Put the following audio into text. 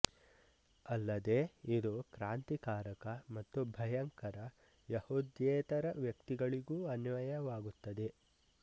ಅಲ್ಲದೇ ಇದು ಕ್ರಾಂತಿಕಾರಕ ಮತ್ತು ಭಯಂಕರ ಯೆಹೂದ್ಯೇತರ ವ್ಯಕ್ತಿಗಳಿಗೂ ಅನ್ವಯವಾಗುತ್ತದೆ